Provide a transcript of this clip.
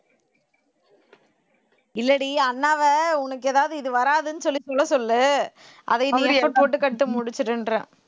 இல்லடி அண்ணாவை உனக்கு ஏதாவது இது வராதுன்னு சொல்லி சொல்ல சொல்லு அதை நீ effort போட்டு முடிச்சிருன்றேன்